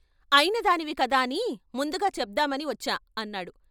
అయిన దానివి కదాని ముందుగా చెప్దామని వచ్చా అన్నాడు.